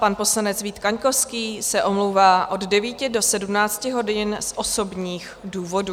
Pan poslanec Vít Kaňkovský se omlouvá od 9 do 17 hodin z osobních důvodů.